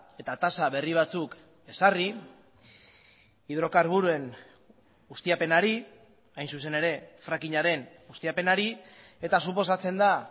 eta tasa berri batzuk ezarri hidrokarburoen ustiapenari hain zuzen ere frackingaren ustiapenari eta suposatzen da